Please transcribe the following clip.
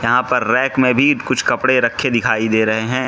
यहां पर रैक में भी कुछ कपड़े रखे दिखाई दे रहे हैं।